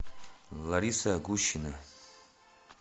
лариса гущина